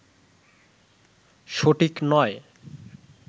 সঠিক নয়